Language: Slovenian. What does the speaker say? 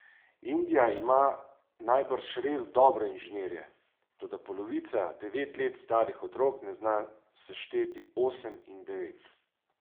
Indija ima najbrž res dobre inženirje, toda polovica devet let starih otrok ne zna sešteti osem in devet.